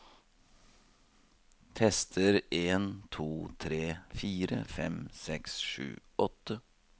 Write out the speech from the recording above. Tester en to tre fire fem seks sju åtte